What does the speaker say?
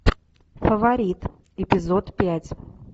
фаворит эпизод пять